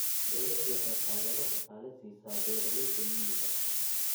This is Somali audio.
Dawladdu waxay taageero dhaqaale siisaa beeralayda miyiga.